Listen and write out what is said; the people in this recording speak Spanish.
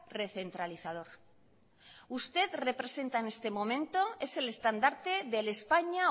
recentralizador usted representa en este momento es el estandarte de el españa